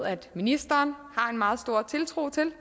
ministeren har en meget stor tiltro til